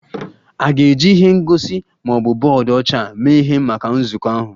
A ga-eji ihe ngosi ma ọ bụ bọọdụ ọcha mee ihe maka nzukọ ahụ?